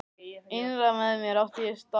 Innra með mér átti sér stað barátta.